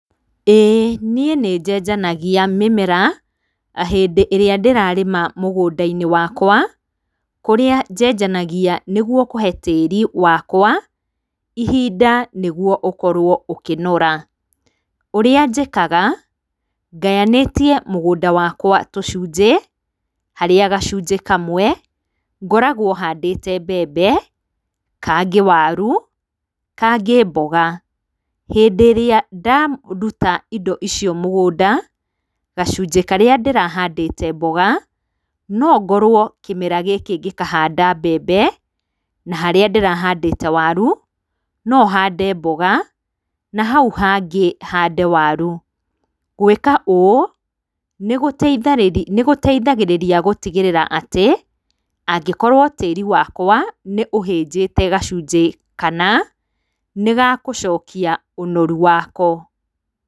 Ĩĩ niĩ nĩjejanagia mĩmera hĩndĩ ĩrĩa ndĩrarĩma mũgũndainĩ wakwa kũrĩa njenjanagia nĩguo kũhe tĩri wakwa hinda nĩguo ũkorwo ũkĩnora, ũrĩa njĩkaga ngayanĩtie mũgũnda wakwa tũcunjĩ harĩa gacunjĩ kamwe ngoragwa handĩte mbembe, kangĩ waru, kangĩ mboga, hĩndĩ ĩrĩa ndaruta indo icio mũgũnda gacinjĩ karĩa ndĩrahandĩte mboga nongorwo kĩmera gĩkĩ gĩkahanda mbembe na harĩa ndĩrahandĩte waru nohande mboga na hau hangĩ hande waru, gwĩka ũũ nĩgũteithagĩrĩria gũtigĩrĩra atĩ angĩkorwo tĩri wakwa nĩũhĩjĩte gacujĩ kana nĩgagũcokia ũnoru wako.